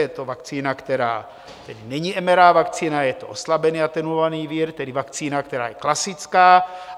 Je to vakcína, která není mRNA vakcína, je to oslabený, atenuovaný vir, tedy vakcína, která je klasická.